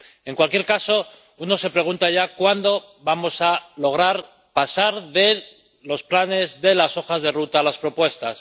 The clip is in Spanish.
En cualquier caso, uno se pregunta ya cuándo vamos a lograr pasar de los planes de las hojas de ruta, a las propuestas.